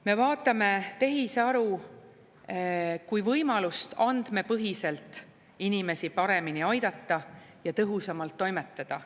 Me vaatame tehisaru kui võimalust andmepõhiselt inimesi paremini aidata ja tõhusamalt toimetada.